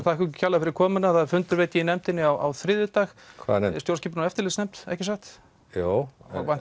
þakka ykkur kærlega fyrir komuna það er fundur veit ég í nefndinni á þriðjudag hvaða nefnd stjórnskipunar og eftirlitsnefnd ekki satt jú